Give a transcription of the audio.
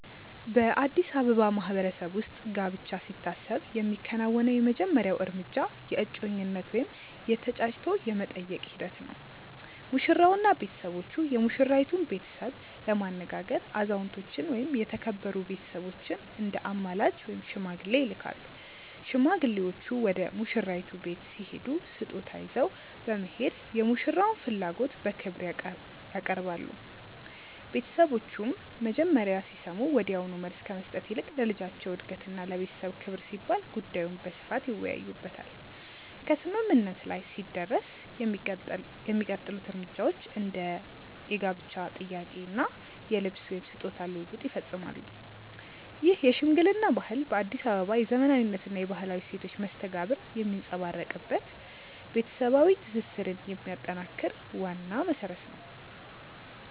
በአዲስ አበባ ማህበረሰብ ውስጥ ጋብቻ ሲታሰብ የሚከናወነው የመጀመሪያው እርምጃ የእጮኝነት ወይም የ"ተጫጭቶ የመጠየቅ" ሂደት ነው። ሙሽራውና ቤተሰቦቹ የሙሽራይቱን ቤተሰብ ለማነጋገር አዛውንቶችን ወይም የተከበሩ ቤተሰቦችን እንደ አማላጅ (ሽማግሌ) ይልካሉ። ሽማግሌዎቹ ወደ ሙሽራይቱ ቤት ሲሄዱ ስጦታ ይዘው በመሄድ የሙሽራውን ፍላጎት በክብር ያቀርባሉ። ቤተሰቦቹም መጀመሪያ ሲሰሙ ወዲያውኑ መልስ ከመስጠት ይልቅ ለልጃቸው እድገትና ለቤተሰብ ክብር ሲባል ጉዳዩን በስፋት ይወያዩበታል። ከስምምነት ላይ ሲደረስ የሚቀጥሉት እርምጃዎች እንደ የጋብቻ ጥያቄ እና የልብስ/ስጦታ ልውውጥ ይፈጸማሉ። ይህ የሽምግልና ባህል በአዲስ አበባ የዘመናዊነትና የባህላዊ እሴቶች መስተጋብር የሚንጸባረቅበት፣ ቤተሰባዊ ትስስርን የሚያጠናክር ዋና መሰረት ነው።